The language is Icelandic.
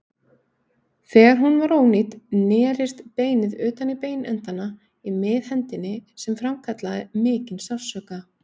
Þegar hún var ónýt nerist beinið utan í beinendana í miðhendinni sem framkallaði mikinn sársauka.